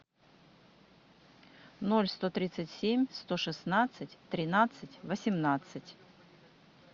ноль сто тридцать семь сто шестнадцать тринадцать восемнадцать